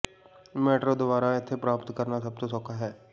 metro ਦੁਆਰਾ ਇੱਥੇ ਪ੍ਰਾਪਤ ਕਰਨਾ ਸਭ ਤੋਂ ਸੌਖਾ ਹੈ